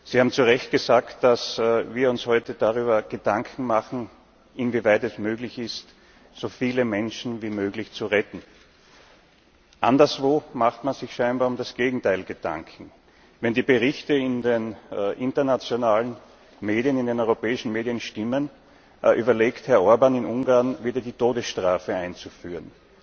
Sie haben zu Recht gesagt, dass wir uns heute darüber Gedanken machen, inwieweit es möglich ist, so viele Menschen wie möglich zu retten. Anderswo macht man sich scheinbar um das Gegenteil Gedanken. Wenn die Berichte in den internationalen Medien, in den europäischen Medien stimmen, überlegt Herr Orbán, in Ungarn wieder die Todesstrafe einzuführen.